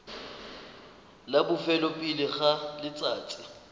la bofelo pele ga letsatsi